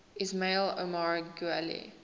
ismail omar guelleh